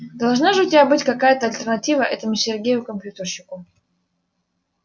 должна же у тебя быть какая-то альтернатива этому сергею компьютерщику